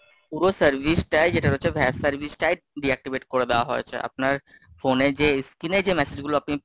পুরো service টাই যেটা হচ্ছে Vase service টাই deactivate করে দেওয়া হয়েছে, আপনার phone এ যে screen এ যে message গুলো আপনি,